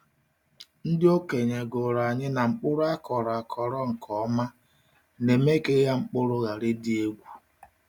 Ndị okenye gụrụ anyị na mkpụrụ akọrọ akọrọ nke ọma na-eme ka ịgha mkpụrụ ghara ịdị egwu.